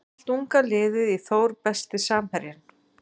Allt unga liðið í Þór Besti samherjinn?